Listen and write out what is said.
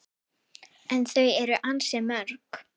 En þau eru ansi mörg